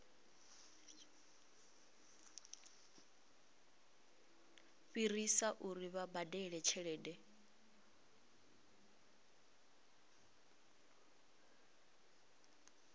fhirisa uri vha badele tshelede